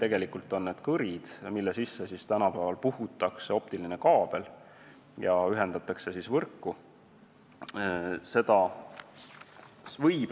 Tegelikult on need kõrid, mille sisse puhutakse tänapäeval optiline kaabel ja mis siis võrku ühendatakse.